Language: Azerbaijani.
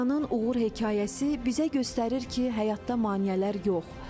Turanın uğur hekayəsi bizə göstərir ki, həyatda maneələr yox.